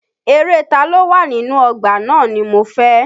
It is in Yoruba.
Eré Taló wà inú ọgbà náà ni mo fẹ́.